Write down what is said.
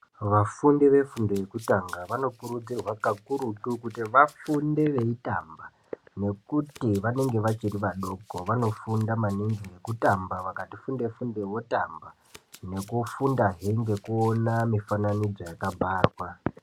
Vafundi vefundo yekutanga vanokurudzirwa kakurutu kuti vafunde veitamba nekuti vanenge vachiri vadoko vanofunda maningi nekutamba vakati funde funde votamba nekufunda hee nekuona mifananidzo yakabharwa.